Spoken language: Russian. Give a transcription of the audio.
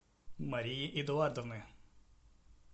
марии эдуардовны